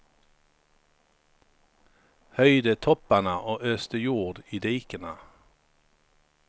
Höjde topparna och öste jord i dikena.